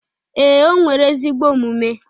Ee, o nwere ezigbo omume